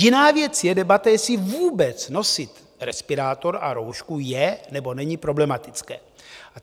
Jiná věc je debata, jestli vůbec nosit respirátor a roušku je nebo není problematické.